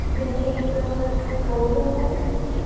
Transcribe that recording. ये एक फोटो हैं।